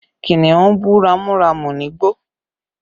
Kìnnìún bú ramúramù nígbó